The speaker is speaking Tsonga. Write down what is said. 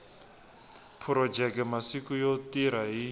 phurojeke masiku yo tirha hi